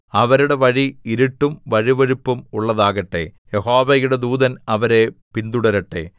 അവരുടെ വഴി ഇരുട്ടും വഴുവഴുപ്പും ഉള്ളതാകട്ടെ യഹോവയുടെ ദൂതൻ അവരെ പിന്തുടരട്ടെ